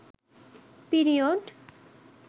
period